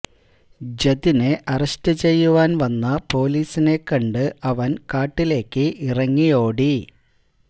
ജതിനെ arrest ചെയ്യുവാന് വന്ന പോലീസിനെ കണ്ട് അവന് കാട്ടിലേക്ക് ഇറങ്ങിയോടി